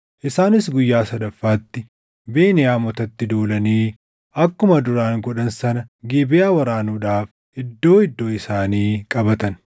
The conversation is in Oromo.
Isaanis guyyaa sadaffaatti Beniyaamotatti duulanii akkuma duraan godhan sana Gibeʼaa waraanuudhaaf iddoo iddoo isaanii qabatan.